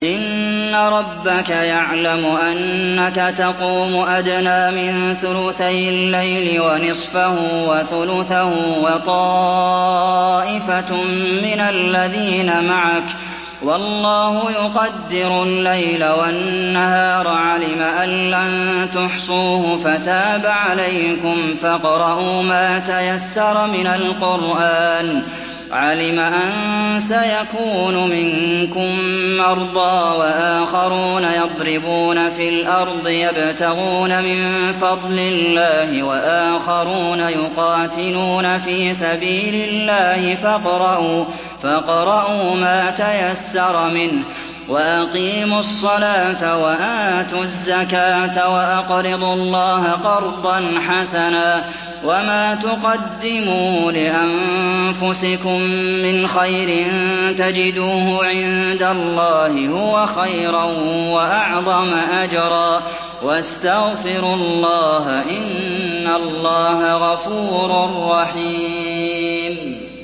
۞ إِنَّ رَبَّكَ يَعْلَمُ أَنَّكَ تَقُومُ أَدْنَىٰ مِن ثُلُثَيِ اللَّيْلِ وَنِصْفَهُ وَثُلُثَهُ وَطَائِفَةٌ مِّنَ الَّذِينَ مَعَكَ ۚ وَاللَّهُ يُقَدِّرُ اللَّيْلَ وَالنَّهَارَ ۚ عَلِمَ أَن لَّن تُحْصُوهُ فَتَابَ عَلَيْكُمْ ۖ فَاقْرَءُوا مَا تَيَسَّرَ مِنَ الْقُرْآنِ ۚ عَلِمَ أَن سَيَكُونُ مِنكُم مَّرْضَىٰ ۙ وَآخَرُونَ يَضْرِبُونَ فِي الْأَرْضِ يَبْتَغُونَ مِن فَضْلِ اللَّهِ ۙ وَآخَرُونَ يُقَاتِلُونَ فِي سَبِيلِ اللَّهِ ۖ فَاقْرَءُوا مَا تَيَسَّرَ مِنْهُ ۚ وَأَقِيمُوا الصَّلَاةَ وَآتُوا الزَّكَاةَ وَأَقْرِضُوا اللَّهَ قَرْضًا حَسَنًا ۚ وَمَا تُقَدِّمُوا لِأَنفُسِكُم مِّنْ خَيْرٍ تَجِدُوهُ عِندَ اللَّهِ هُوَ خَيْرًا وَأَعْظَمَ أَجْرًا ۚ وَاسْتَغْفِرُوا اللَّهَ ۖ إِنَّ اللَّهَ غَفُورٌ رَّحِيمٌ